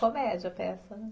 Comédia a peça, né?